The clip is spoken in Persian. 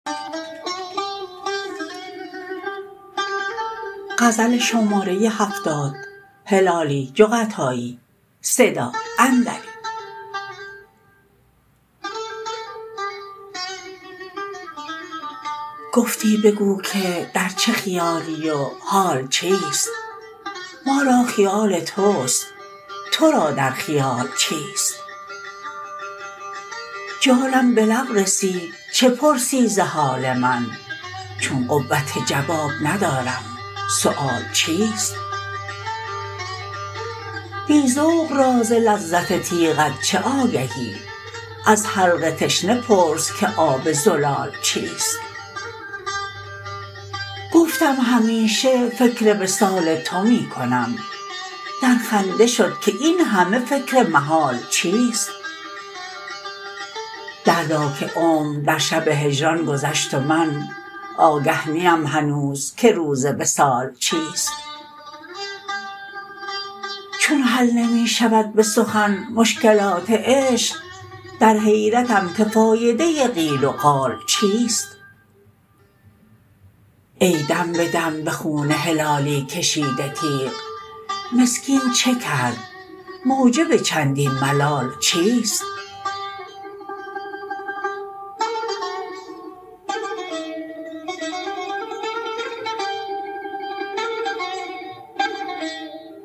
گفتی بگو که در چه خیالی و حال چیست ما را خیال توست تو را در خیال چیست جانم به لب رسید چه پرسی ز حال من چون قوت جواب ندارم سؤال چیست بی ذوق را ز لذت تیغت چه آگهی از حلق تشنه پرس که آب زلال چیست گفتم همیشه فکر وصال تو می کنم در خنده شد که این همه فکر محال چیست دردا که عمر در شب هجران گذشت و من آگه نیم هنوز که روز وصال چیست چون حل نمی شود به سخن مشکلات عشق در حیرتم که فایده قیل وقال چیست ای دم به دم به خون هلالی کشیده تیغ مسکین چه کرد موجب چندین ملال چیست